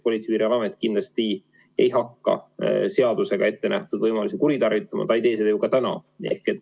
Politsei- ja Piirivalveamet kindlasti ei hakka seadusega ette nähtud võimalusi kuritarvitama, ta ei tee seda ju ka täna.